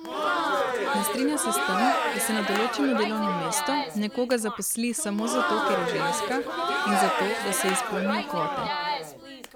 Ne strinja se s tem, da se na določeno delovno mesto nekoga zaposli samo zato, ker je ženska, in zato, da se izpolnijo kvote.